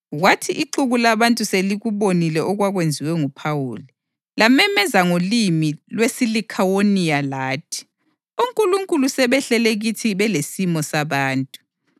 Kwathi ixuku labantu selikubonile okwakwenziwe nguPhawuli, lamemeza ngolimi lwesiLikhawoniya lathi, “Onkulunkulu sebehlele kithi belesimo sabantu!”